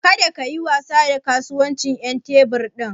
Kada kayi wasa da kasuwancin ƴan tebur ɗin.